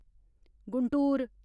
Guntur